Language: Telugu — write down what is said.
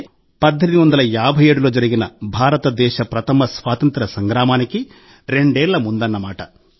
అంటే 1857లో జరిగిన భారతదేశ ప్రథమ స్వాతంత్య్ర సంగ్రామానికి రెండేళ్ల ముందన్నమాట